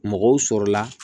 Mɔgɔw sɔrɔla la